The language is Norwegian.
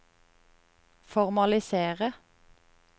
formalisere